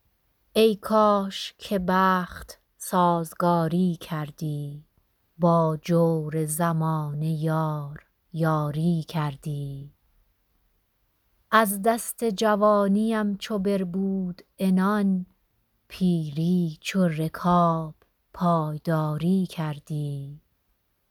ای کاش که بخت سازگاری کردی با جور زمانه یار یاری کردی از دست جوانی ام چو بربود عنان پیری چو رکاب پایداری کردی